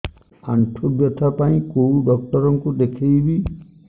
ଆଣ୍ଠୁ ବ୍ୟଥା ପାଇଁ କୋଉ ଡକ୍ଟର ଙ୍କୁ ଦେଖେଇବି